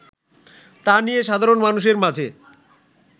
তা নিয়ে সাধারণ মানুষের মাঝে